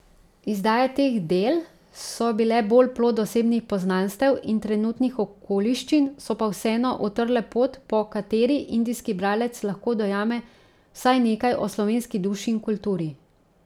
Izdaje teh del so bile bolj plod osebnih poznanstev in trenutnih okoliščin, so pa vseeno utrle pot, po kateri indijski bralec lahko dojame vsaj nekaj o slovenski duši in kulturi.